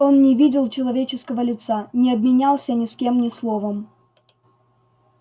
он не видел человеческого лица не обменялся ни с кем ни словом